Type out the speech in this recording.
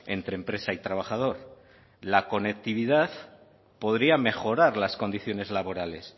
entre empresa y trabajador la conectividad podría mejorar las condiciones laborales